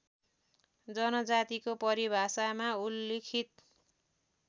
जनजातिको परिभाषामा उल्लिखित